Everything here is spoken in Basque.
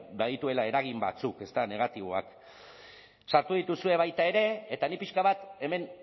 badituela eragin batzuk ezta negatiboak sartu dituzue baita ere eta ni pixka bat hemen